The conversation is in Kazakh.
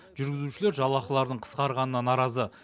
жүргізушілер жалақыларының қысқарғанына наразы